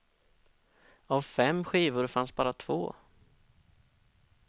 Av fem skivor fanns bara två.